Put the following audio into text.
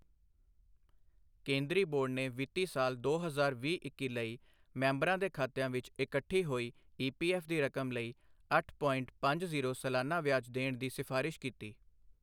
ਕੇਂਦਰੀ ਬੋਰ਼ਡ ਨੇ ਵਿੱਤੀ ਸਾਲ ਦੋ ਹਜ਼ਾਰ ਵੀਹ ਇੱਕੀ ਲਈ ਮੈਂਬਰਾਂ ਦੇ ਖਾਤਿਆਂ ਵਿਚ ਇਕੱਠੀ ਹੋਈ ਈਪੀਐਫ ਦੀ ਰਕਮ ਲਈ ਅੱਠ ਪੋਇੰਟ ਪੰਜ ਜ਼ੀਰੋ ਸਾਲਾਨਾ ਵਿਆਜ ਦੇਣ ਦੀ ਸਿਫਾਰਸ਼ ਕੀਤੀ।